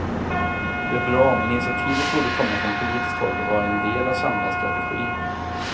Det är bra, men initiativet borde komma från politiskt håll och vara en del av en samlad strategi.